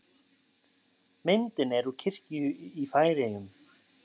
Myndin er úr kirkju í Færeyjum.